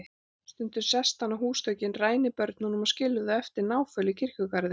Stundum sest hann á húsþökin, rænir börnunum og skilur þau eftir náföl í kirkjugarðinum.